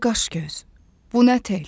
Bu nə qaşgöz, bu nə tel.